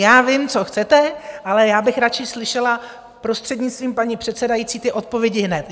Já vím, co chcete, ale já bych radši slyšela, prostřednictvím paní předsedající, ty odpovědi hned.